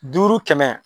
Duuru kɛmɛ